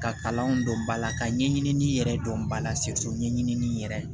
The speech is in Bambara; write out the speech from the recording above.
Ka kalan dɔn ba la ka ɲɛɲini yɛrɛ dɔn bala ɲɛɲinin yɛrɛ